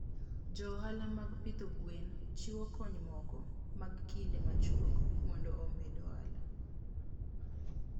Jo ohala mag pidho gwen chiwo kony moko mag kinde machuok mondo omed ohala.